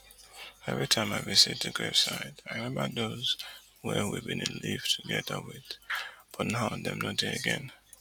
evri time i visit di grave site i remember those wey we bin dey live togeda wit but now dem no dey again